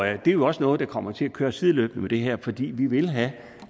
er jo også noget der kommer til at køre sideløbende med det her fordi vi vil have